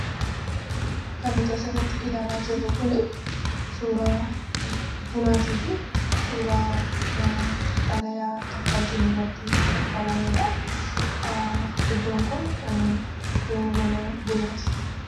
Kan nuti asirratti ilaalaa jirru kuni, suuraa bunaatiifi suuraa xalayaan kaffaltii irratti kaffalameedha. Iddoon kun iddoo mana bunaati.